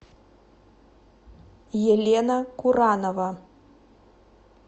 елена куранова